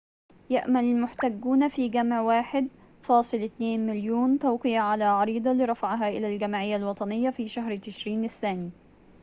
يأمل المحتجون في جمع 1.2 مليون توقيع على عريضة لرفعها إلى الجمعية الوطنية في شهر تشرين الثاني